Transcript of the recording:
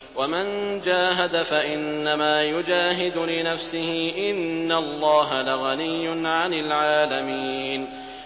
وَمَن جَاهَدَ فَإِنَّمَا يُجَاهِدُ لِنَفْسِهِ ۚ إِنَّ اللَّهَ لَغَنِيٌّ عَنِ الْعَالَمِينَ